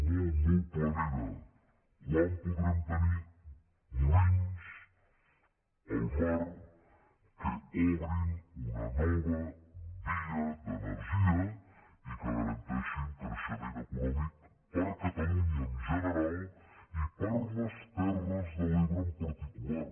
molt molt planera quan podrem tenir molins al mar que obrin una nova via d’energia i que garanteixin creixement econòmic per a catalunya en general i per a les terres de l’ebre en particular